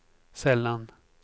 sällan